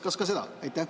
Kas ka seda?